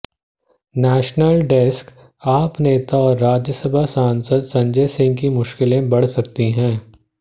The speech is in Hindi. नेशनल डेस्कः आप नेता और राज्यसभा सांसद संजय सिंह की मुश्किलें बढ़ सकती हैं